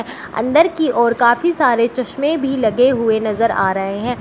अंदर की ओर काफी सारे चश्मे भी लगे हुए नजर आ रहे हैं।